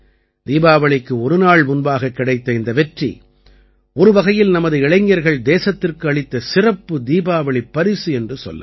தீபாவளிக்கு ஒரு நாள் முன்பாகக் கிடைத்த இந்த வெற்றி ஒருவகையில் நமது இளைஞர்கள் தேசத்திற்கு அளித்த சிறப்பு தீபாவளிப் பரிசு என்று கொள்ளலாம்